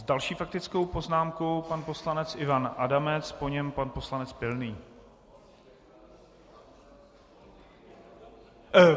S další faktickou poznámkou pan poslanec Ivan Adamec, po něm pan poslanec Pilný.